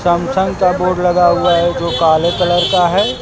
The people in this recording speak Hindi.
सैमसंग का बोर्ड लगा हुआ है। जो काले कलर का है।